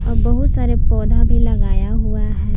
बहुत सारे पौधा भी लगाया हुआ है।